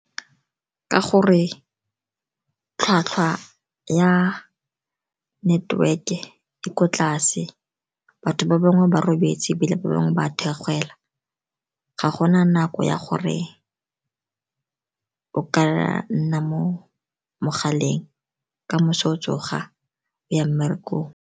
Ka gore tlhwatlhwa ya network-e e ko tlase, batho ba bangwe ba robetse, ebile ba bangwe ba theogela. Ga gona nako ya gore o ka nna mo mogaleng ka moso o tsoga o ya mmerekong.